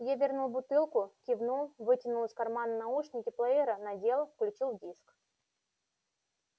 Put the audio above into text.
я вернул бутылку кивнул вытянул из кармана наушники плеера надел включил диск